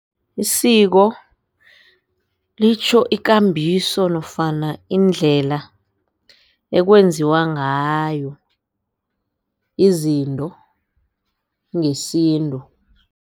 Isiko litjho ikambiso nofana iindlela ekwenziwa ngayo izinto ngesintu.